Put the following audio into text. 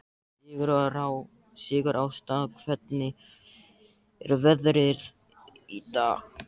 Sigurásta, hvernig er veðrið í dag?